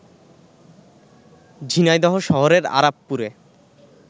ঝিনাইদহ শহরের আরাপপুরে